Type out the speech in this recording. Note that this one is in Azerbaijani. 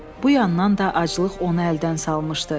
Bu yandan da aclıq onu əldən salmışdı.